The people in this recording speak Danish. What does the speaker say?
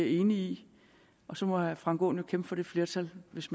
enig i og så må herre frank aaen jo kæmpe for det flertal hvis